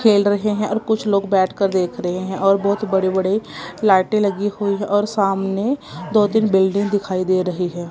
खेल रहे हैं और कुछ लोग बैठकर देख रहे हैं और बहुत बड़े बड़े लाइटें लगी हुई है और सामने दो तीन बिल्डिंग दिखाई दे रही है।